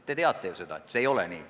Te teate ju, et see ei ole nii.